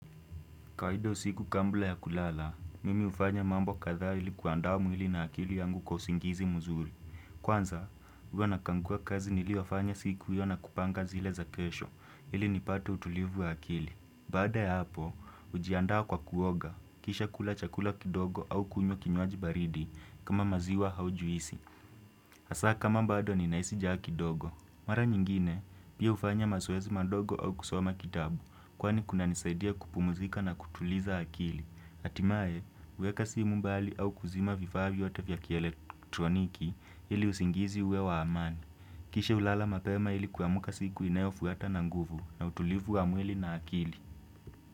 Kawaida usiku kabla ya kulala, mimi hufanya mambo kadhaa ili kuandaa mwili na akili yangu kwa usingizi mzuri. Kwanza, huwa nakagua kazi niliyofanya siku hiyo na kupanga zile za kesho ili nipate utulivu wa akili. Bada ya hapo, hujiandaa kwa kuoga, kisha kula chakula kidogo au kunywa kinywaji baridi kama maziwa au juisi. Hasa kama bado ninahisi njaa kidogo. Mara nyingine, pia hufanya mazoezi madogo au kusoma kitabu kwani kuna nisaidia kupumuzika na kutuliza akili. Hatimaye, huweka simu mbali au kuzima vifaa vyote vya kielektroniki ili usingizi uwe wa amani. Kisha hulala mapema ili kuamka siku inayofuata na nguvu na utulivu wa mwili na akili.